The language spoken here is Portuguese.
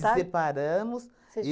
Se separamos. Vocês